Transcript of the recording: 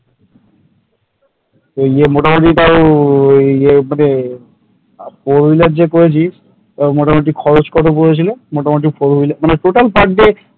এইয়ে মোটামুটি তাও এই মানে four wheeler যে করেছিস তাও মোটামুটি খরচ কত পড়েছিল? মোটামুটি four wheeler মানে total per day